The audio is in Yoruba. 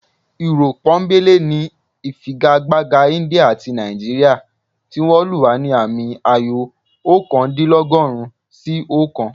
Irọ́ pọ́nńbélé ni ìfigagbága India àti Nàìjíríà tí wọ́n lù wá ní àmì ayò ọ̀kándínlọ́gọ́rùn-ún sí ọ̀kan